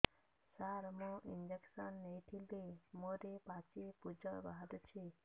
ସାର ମୁଁ ଇଂଜେକସନ ନେଇଥିଲି ମୋରୋ ପାଚି ପୂଜ ବାହାରୁଚି